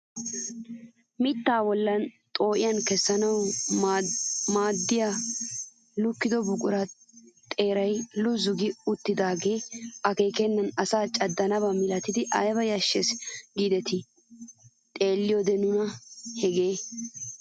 Mittaa bolli xoo'iyaa kessanawu maaddiyaalukkiyaa buquraay xeerara luzu gi uttidagee akeekennan asaa caddiyaaba milatidi ayba yashshees gidetii xeelliyoode nuna hegee!